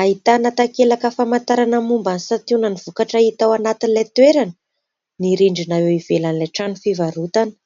Ahitana takelaka famantarana momba ny santionan'ny vokatra hita ao anatin'ilay toerana ny rindrina eo ivelan'ilay trano fivarotana.